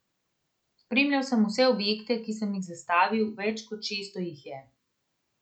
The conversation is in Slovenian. Spremljal sem vse objekte, ki sem jih zastavil, več kot šeststo jih je.